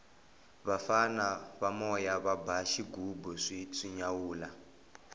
vafana va moya va ba xighubu swi nyawula